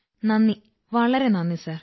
നന്ദി വളരെ നന്ദി സർ